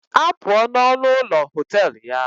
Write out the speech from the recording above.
Apụọ n'ọnụ ụlọ họtel ya!